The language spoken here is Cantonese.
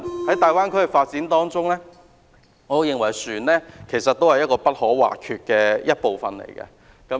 在大灣區的發展中，我認為船隻是不可或缺的部分。